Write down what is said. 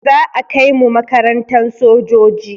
Za a kai mu makarantan sojoji